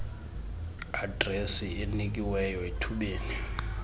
adresi enikiweyo ethubeni